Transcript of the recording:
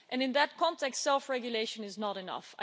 In that context self-regulation is not enough.